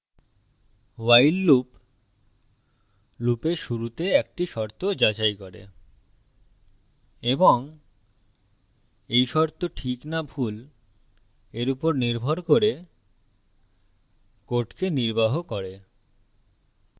while loop লুপের শুরুতে একটি শর্ত যাচাই করে এবং এই শর্ত ঠিক না ভুল এর উপর নির্ভর করে code নির্বাহ করে